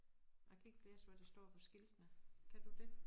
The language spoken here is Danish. Jeg kan ikke læse hvad der står på skiltene kan du det